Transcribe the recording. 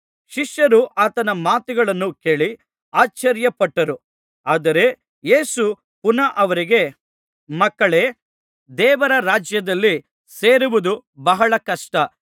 ಶಿಷ್ಯರು ಆತನ ಮಾತುಗಳನ್ನು ಕೇಳಿ ಅಶ್ಚರ್ಯಪಟ್ಟರು ಆದರೆ ಯೇಸು ಪುನಃ ಅವರಿಗೆ ಮಕ್ಕಳೇ ದೇವರ ರಾಜ್ಯದಲ್ಲಿ ಸೇರುವುದು ಬಹಳ ಕಷ್ಟ